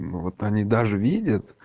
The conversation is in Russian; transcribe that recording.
ну вот они даже видят